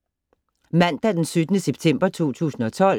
Mandag d. 17. september 2012